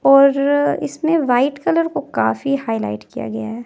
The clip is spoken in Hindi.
और इसमें व्हाइट कलर को काफी हाईलाइट किया गया है।